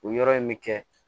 O yɔrɔ in bɛ kɛ